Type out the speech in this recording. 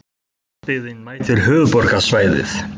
Landsbyggðin mætir höfuðborgarsvæðinu